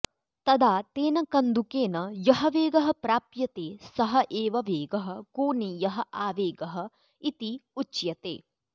तदा तेन कन्दुकेन यः वेगः प्राप्यते सः एव वेगः कोनीयः आवेगः इति उच्यते